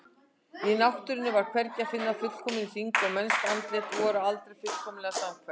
Í náttúrunni var hvergi að finna fullkominn hring og mennsk andlit voru aldrei fullkomlega samhverf.